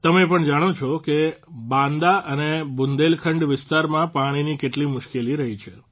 તમે પણ જાણો છો કે બાંદા અને બુંદેલખંડ વિસ્તારમાં પાણીની કેટલી મુશ્કેલી રહી છે